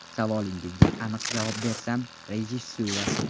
Savolingizga aniq javob bersam, rejissura.